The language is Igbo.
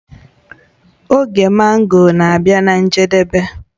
Oge mango na-abịa na njedebe